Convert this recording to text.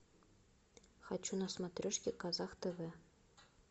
хочу на смотрешке казах тв